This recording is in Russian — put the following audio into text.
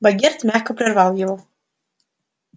богерт мягко прервал его